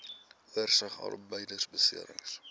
oorsig arbeidbeserings